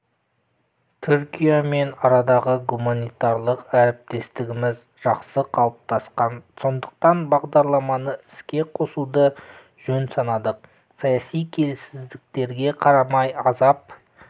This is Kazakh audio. түркиямен арадағы гуманитарлық әріптестігіміз жақсы қалыптасқан сондықтан бағдарламаны іске қосуды жөн санадық саяси келеңсіздіктерге қарамай азап